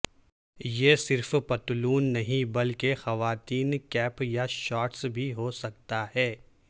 یہ صرف پتلون نہیں بلکہ خواتین کیپ یا شارٹس بھی ہو سکتا ہے